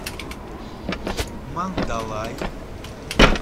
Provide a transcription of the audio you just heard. мандалай